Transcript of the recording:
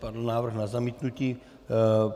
Padl návrh na zamítnutí.